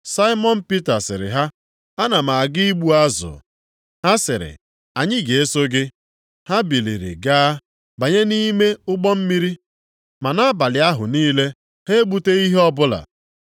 Saimọn Pita sịrị ha, “Ana m aga igbu azụ.” Ha sịrị, “Anyị ga-eso gị.” Ha biliri gaa, banye nʼime ụgbọ mmiri. Ma nʼabalị ahụ niile ha egbuteghị ihe ọbụla.